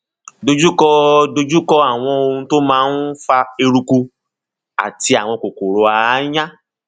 dojú kọ dojú kọ àwọn ohun tó ń fa eruku àti àwọn kòkòrò aáyán